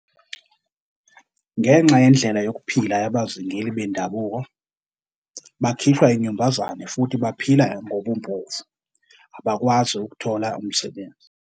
Ngenxa yendlela yokuphila yabazingeli bendabuko, bakhishwa inyumbazane futhi baphila ngobumpofu, abakwazi ukuthola umsebenzi.